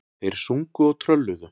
Þeir sungu og trölluðu.